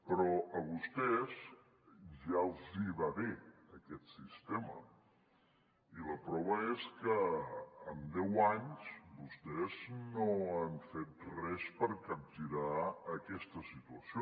però a vostès ja els va bé aquest sistema i la prova és que en deu anys vostès no han fet res per capgirar aquesta situació